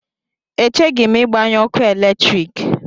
Echeghị m ịgbanyụ ọkụ eletrik.